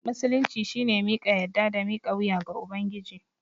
Musulunci shine miƙa yadda da mika wuya ga Ubangiji.